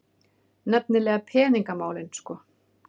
Nefnilega peningamálin sko.